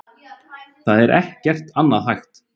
Það er ekki annað hægt